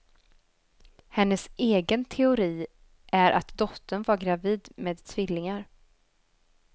Hennes egen teori är att dottern var gravid med tvillingar.